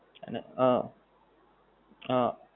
અને હં હં